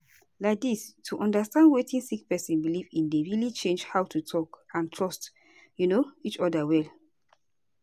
laidis to understand wetin sick person belief in dey really change how to talk and trust um each oda well